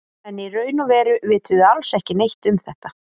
En í raun og veru vitum við alls ekki neitt um þetta.